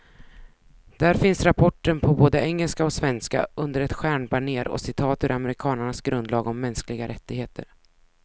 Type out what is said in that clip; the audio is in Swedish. Där finns rapporten på både engelska och svenska, under ett stjärnbanér och citat ur amerikanernas grundlag om mänskliga rättigheter.